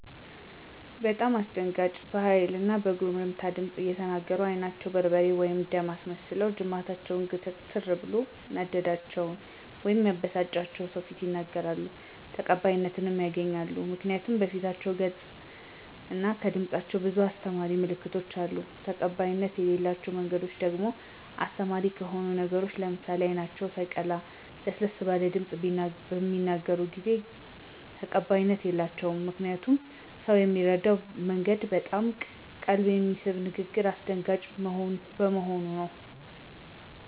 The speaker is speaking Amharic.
በጣም አስደንጋጭ በሀይል እና በጉርምትምት ድምፅ እየተናገሩ አይናቸውን በርበሬ/ደም አስመስለውና ጅማታቸው ግትርትር ብሎ ያናደዳቸውን/የበሳጫቸውን በሰዎች ፊት ይናገራሉ። ተቀባይነትም ያገኛሉ ምክንያቱ ከፊት ገፃቸው እና ከድምፃቸው ብዙ አሰተማሪ ምልክቶች አሉ። ተቀባይነት የለላቸው መንገዶች ደግሞ አስተማሪ ከሆኑ ነገሮች ለምሳሌ አይናቸው ሳየቀላ ለሰለስ ባለ ድምፅ ቢናገሩ ብዙ ጊዜ ተቀባይነት የላቸውም። ምክንያቱም ሰው ሚረዳበት መንገድ በጣም ቀልብ በሚነሳ ንግግርና አሰደንጋጭ በሆኑ ነገሮች ሰለሆነ።